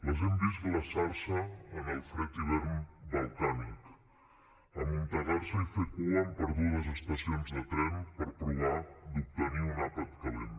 les hem vist glaçar se en el fred hivern balcànic amuntegar se i fer cua en perdudes estacions de tren per provar d’obtenir un àpat calent